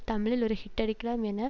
தமிழில் ஒரு ஹிட் டடிக்கலாம் என